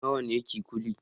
Nawa ne kikuli